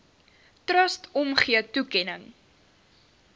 trust omgee toekenning